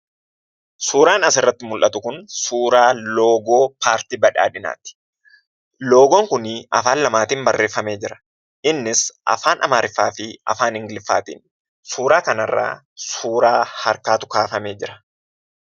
Suuraan asirratti mul'atu kun, suuraa aasxaa paarti badhaadhinati. Aasxaan kun afaan lamaan barreffame jira. Innis Afaan Amaariffaafi Afaan Ingiliffaati. Suuraa kanarra suuraa harkaatu kaafamee jira.